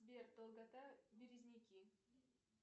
сбер долгота березники